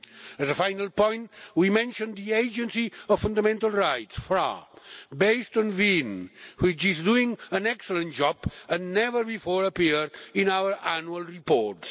As a final point, we mentioned the Agency for Fundamental Rights, FRA, based in Vienna, which is doing an excellent job and has never before appeared in our annual reports.